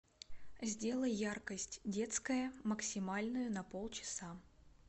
сделай яркость детская максимальную на полчаса